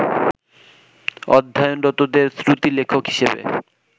অধ্যয়নরতদের শ্রুতিলেখক হিসেবে